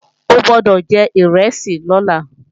O gbọ́dọ̀ jẹ ìrẹsì lọ́la!